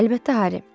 Əlbəttə, Harri.